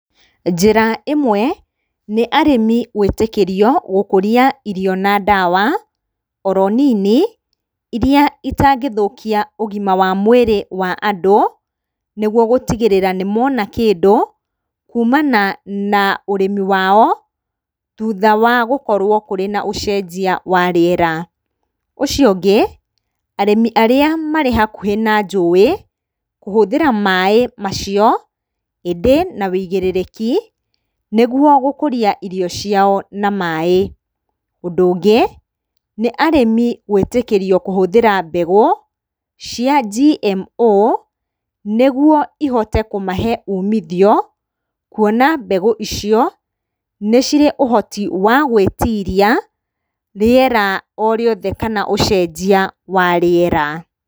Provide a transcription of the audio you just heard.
Njĩra ĩmwe, nĩ arĩmi gwĩtĩkĩrio gũkũria irio na ndawa oro nini, iria itangĩthũkia ũgima wa mwĩrĩ wa andũ, nĩguo gũtigĩrĩra nĩmona kĩndũ kumana na ũrĩmi wao thutha wa gũkorwo kũrĩ na ũcenjia wa rĩera. Ũcio ũngĩ, arĩmi arĩa marĩ hakuhĩ na njũĩ kũhũthĩra maaĩ macio, ĩndĩ na wũigĩrĩki, nĩguo gũkũria irio ciao na maaĩ. Ũndũ ũngĩ, nĩ arĩmi gwĩtĩkĩrio kũhũthĩra mbegũ cia GMO, nĩguo ihote kũmahe umithio, kuona mbegũ icio, nĩ cirĩ ũhoti wa gwĩtiria rĩera orĩothe kana ũcenjia wa rĩera.